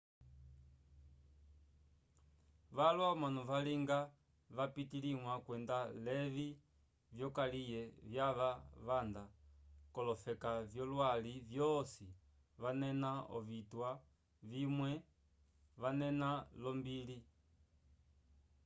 valwa omanu valinga vapitaliwa kwenda levi vyokaliye vyava vanda kolofeka vyolwali vyosi vanena ovitwa vimwe vanena lombili